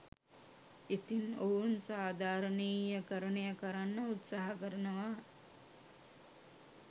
ඉතින් ඔවුන් සාධාරණීයකරණය කරන්න උත්සාහ කරනවා